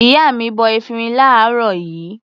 Ìyá mi bọ efirin láàárọ̀ yìí.